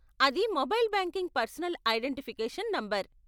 అది mobile banking personal identification number.